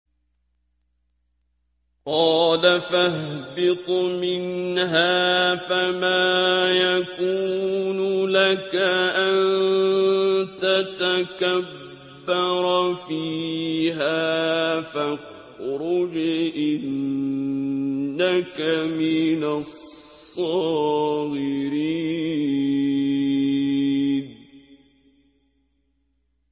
قَالَ فَاهْبِطْ مِنْهَا فَمَا يَكُونُ لَكَ أَن تَتَكَبَّرَ فِيهَا فَاخْرُجْ إِنَّكَ مِنَ الصَّاغِرِينَ